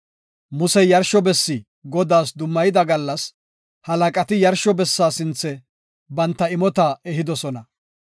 Musey yarsho bessi Godaas dummayida gallas halaqati yarsho bessa sinthe banta imota ehidosona.